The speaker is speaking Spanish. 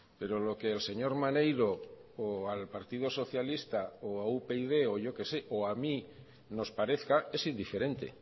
pero lo que el señor maneiro o al partido socialista o a upyd o yo que sé o a mí nos parezca es indiferente